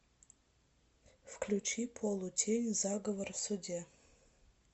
включи полутень заговор в суде